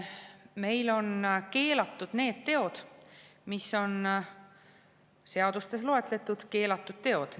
Meil on keelatud need teod, mis on seadustes loetletud keelatud teod.